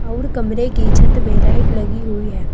और कमरे की छत में लाइट लगी हुई है।